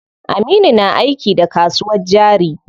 Aminu na aiki da kasuwar jari.